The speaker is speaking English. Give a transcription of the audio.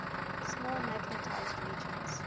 small magnetized regions